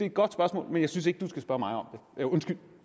et godt spørgsmål men jeg synes ikke at du skal spørge mig om det undskyld